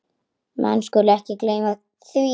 Menn skulu ekki gleyma því.